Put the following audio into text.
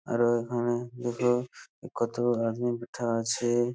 আরও এখানে দুটো কতো আদমী বিঠা আছে।